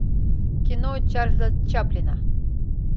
кино чарльза чаплина